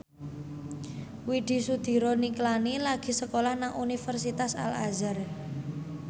Widy Soediro Nichlany lagi sekolah nang Universitas Al Azhar